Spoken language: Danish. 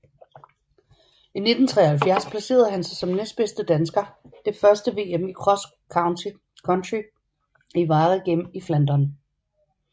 I 1973 placerede han sig som næstbedste dansker det første VM i cross country i Waregem i Flandern